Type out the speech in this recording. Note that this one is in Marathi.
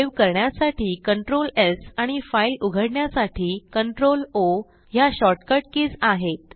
सेव्ह करण्यासाठी CtrlS आणि फाईल उघडण्यासाठी CtrlO ह्या shortcut कीज आहेत